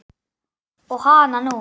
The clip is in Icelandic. Og hananú!